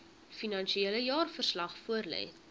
finansiële jaarverslag voorlê